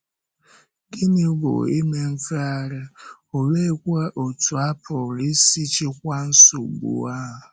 Gịnị bụ ime mfegharị, òleekwa otú a pụrụ isi chịkwaa nsogbu ahụ?